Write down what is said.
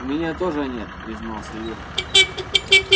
у меня тоже нет признался юра